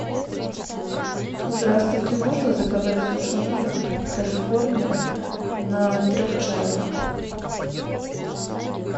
здравствуйте можно заказать суши на дом калифорния на трех человек